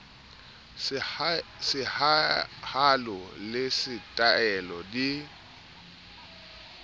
sehalo le se taele di